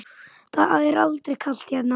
Það er aldrei kalt hérna.